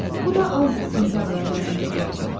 Bu da avqust-sentyabr aylarında dəyəcək.